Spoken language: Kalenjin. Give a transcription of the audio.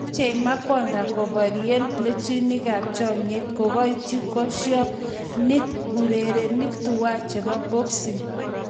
Machei Makonda koborie plembechonikab chomyet"Kikoityi koshinet urerenik tuwai chebo boxing.